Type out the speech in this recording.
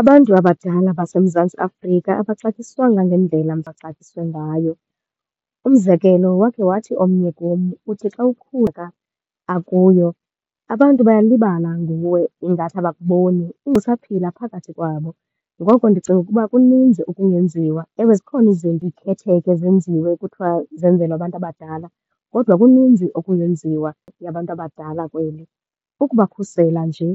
Abantu abadala baseMzantsi Afrika abaxatyiswanga ngendlela baxatyisiwe ngayo. Umzekelo wakhe wathi omnye kum uthi xa kuyo abantu bayalibala nguwe, ingathi abakuboni usaphila phakathi kwabo. Ngoko ndicinga ukuba kuninzi okungenziwa. Ewe zikhona izinto izikhetheko ezenziwe kuthiwa zenzelwa abantu abadala, kodwa kuninzi okungenziwa yabantu abadala kweli. Ukubakhusela nje